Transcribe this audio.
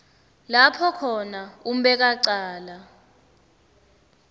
lapho khona umbekwacala